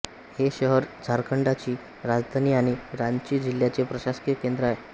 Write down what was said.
हे शहर झारखंडची राजधानी आणि रांची जिल्ह्याचे प्रशासकीय केंद्र आहे